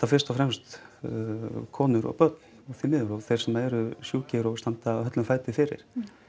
fyrst og fremst konur og börn því miður og þeir sem eru sjúkir og standa höllum fæti fyrir